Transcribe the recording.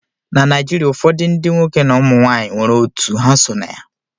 Na Naijiria ụfọdụ ndị nwoke na ụmụ nwanyị nwere otu ha so na ya